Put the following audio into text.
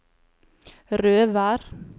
Røvær